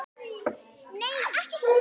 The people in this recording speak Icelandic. Nei, ekki svo